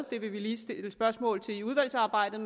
det vil vi lige stille spørgsmål til i udvalgsarbejdet